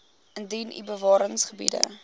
indien u bewaringsgebiede